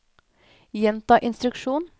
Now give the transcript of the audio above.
gjenta instruksjon